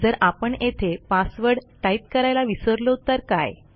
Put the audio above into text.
जर आपण येथे पासवर्ड टाईप करायला विसरलो तर काय